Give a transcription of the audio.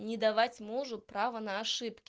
и не давать мужу право на ошибки